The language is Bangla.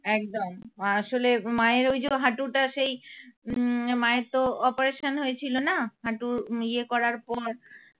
একদম আসলে মায়ের ওই যে হাটুটা সেই উম মায়ের তো operation হয়েছিল না? হাটু ইয়ে করার পর